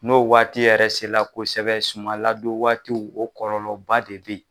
N'o waati yɛrɛ sera la kosɛbɛ sumaladon waatiw o kɔlɔlɔba de be yen